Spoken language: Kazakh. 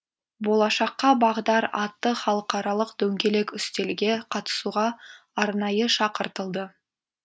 болашаққа бағдар атты халықаралық дөңгелек үстелге қатысуға арнайы шақыртылды